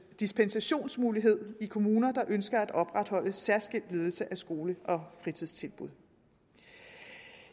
dispensationsmulighed i kommuner der ønsker at opretholde en særskilt ledelse af skole og fritidstilbud